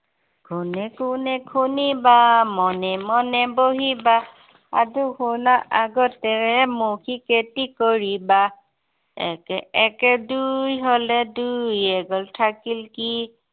কোনে কোনে শুনিবা, মনে মনে বহিবা। সাধু শুনা আগতে মৌখিক এটি কৰিবা। একে একে দুই হলে দুইৰ এক গ'ল থাকিল কি